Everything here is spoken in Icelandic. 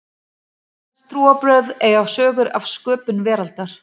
flest trúarbrögð eiga sögur af sköpun veraldarinnar